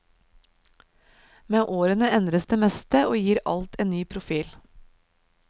Med årene endres det meste og gir alt en ny profil.